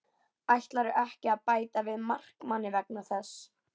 Ætlarðu ekki að bæta við markmanni vegna þess?